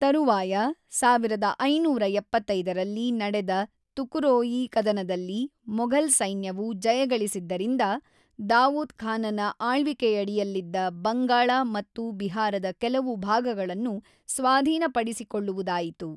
ತರುವಾಯ, ೧೫೭೫ರಲ್ಲಿ ನಡೆದ ತುಕರೋಯಿ ಕದನದಲ್ಲಿ ಮೊಘಲ್ ಸೈನ್ಯವು ಜಯಗಳಿಸಿದ್ದರಿಂದ ದಾವೂದ್ ಖಾನನ ಆಳ್ವಿಕೆಯಡಿಯಲ್ಲಿದ್ದ ಬಂಗಾಳ ಮತ್ತು ಬಿಹಾರದ ಕೆಲವು ಭಾಗಗಳನ್ನು ಸ್ವಾಧೀನಪಡಿಸಿಕೊಳ್ಳುವುದಾಯಿತು.